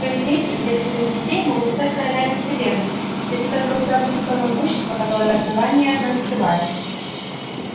твои дети и дети твоих детей могут стать королями вселенной если только у тебя будет то могущество которое основание от нас скрывает